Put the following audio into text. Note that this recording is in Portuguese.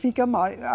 Fica mais.